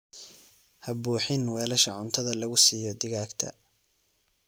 Ha buuxin weelasha cuntadhaa lagu siiyo digaagta.